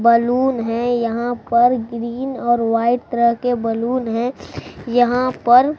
balloon है यहां पर ग्रीन और व्हाइट तरह के बलून है यहां पर--